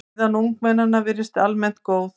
Líðan ungmenna virðist almennt góð.